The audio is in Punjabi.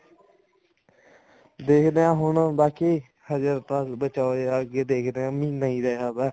ਦੇਖਦੇ ਹਾਂ ਹੁਣ ਬਾਕੀ ਹਜੇ ਤਾਂ ਬਚਾ ਹੀ ਹੈ ਅੱਗੇ ਦੇਖਦੇ ਹਾਂ ਮਹੀਨਾ ਹੀ ਰਿਹ ਗਿਆ